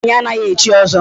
Nwaanyị anaghị echi ọzọ.